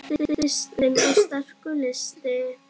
Kristinn: Og sterkur listi?